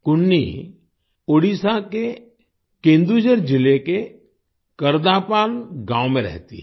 कुन्नी ओडीशा के केन्दुझर जिले के करदापाल गांव में रहती है